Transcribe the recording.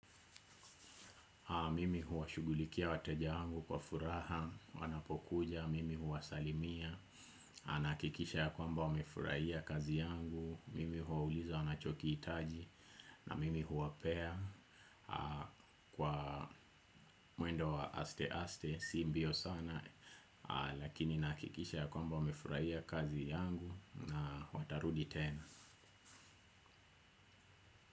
Mimi huwashughulikia wateja wangu kwa furaha, wanapokuja, mimi huwasalimia. Nahakikisha ya kwamba wamefurahia kazi yangu, mimi huwauliza wanachokihitaji. Na mimi huwapea kwa mwendo wa aste aste, si mbio sana. Lakini nahakikisha ya kwamba wamefurahia kazi yangu na watarudi tena.